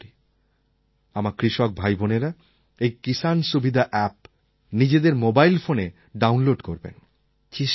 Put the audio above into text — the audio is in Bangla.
আমি আশা করি আমার কৃষক ভাইবোনেরা এই কিসান সুবিধা অ্যাপ নিজেদের মোবাইল ফোনে ডাউনলোড করবেন